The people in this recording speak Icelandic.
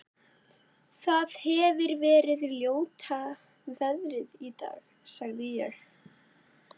Það hefir verið ljóta veðrið í dag- sagði ég.